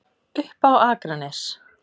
Upp á Akranes.